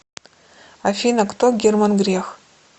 афина кто герман грех